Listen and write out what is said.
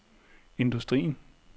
industrien